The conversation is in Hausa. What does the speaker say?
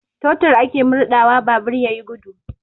Totur ake murɗawa babur ya yi gudu.